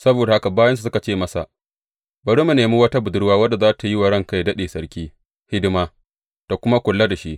Saboda haka bayinsa suka ce masa, Bari mu nemi wata budurwa wadda za tă yi wa ranka yă daɗe, sarki hidima, tă kuma kula da shi.